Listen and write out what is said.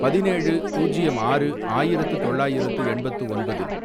பதினேழு, பூஜ்யம் ஆறு, ஆயிரத்து தொள்ளாயிரத்து எண்பத்து ஒன்பது